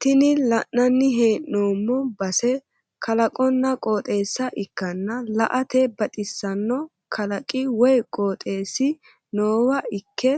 tini la'nanni hee'noomo base kalaqonna qooxeessa ikkana la"ate baxisanno kalaqi woy qooxeessi noowa ikke